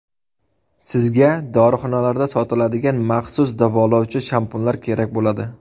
Sizga dorixonalarda sotiladigan maxsus davolovchi shampunlar kerak bo‘ladi.